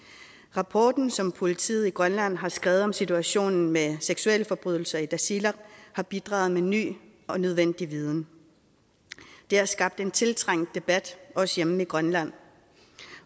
rapporten som politiet i grønland har skrevet om situationen med seksuelforbrydelser i tasiilaq har bidraget med ny og nødvendig viden det har skabt en tiltrængt debat også hjemme i grønland